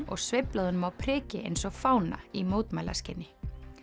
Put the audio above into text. og sveiflað honum á priki eins og fána í mótmælaskyni